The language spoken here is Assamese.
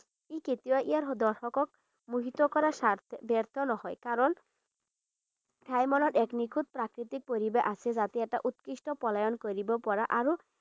ই কেতিয়াও ইয়াৰ দৰ্শকক মোহিত কৰাত স্বা ব্যৰ্থ নহয়। কাৰণ এক নিখুঁত প্ৰাকৃতিক পৰিৱেশ আছে যাতে এটা উৎকৃষ্ট পলায়ন কৰিব পৰা আৰু